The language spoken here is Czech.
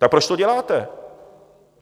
Tak proč to děláte?